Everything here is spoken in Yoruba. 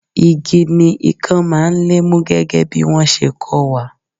Igi ni ikan máa ń lé mú gẹ́gẹ́ bí wọn ṣe kó wa.